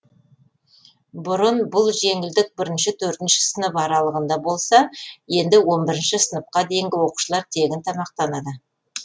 бұрын бұл жеңілдік бірінші төртінші сынып аралығында болса енді он бірінші сыныпқа дейінгі оқушылар тегін тамақтанады